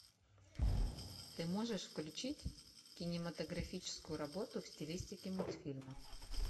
ты можешь включить кинематографическую работу в стилистике мультфильма